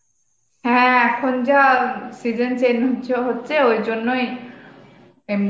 হ্যাঁ এখন যা অ্যাঁ season change হচ্ছে হচ্ছে এই জন্য ই এমনি